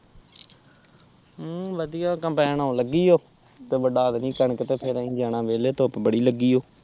ਹਮ ਵਧੀਆ ਕੰਪੈਨ ਆਉਣ ਲੱਗਿ ਓ ਤੇ ਵੱਡਾ ਦੇਣੀ ਕਣਕ ਤੇ ਫੇਰ ਅਸੀਂ ਜਾਣਾ ਮੇਲੇ ਧੁੱਪ ਬੜੀ ਲੱਗੀ ਓ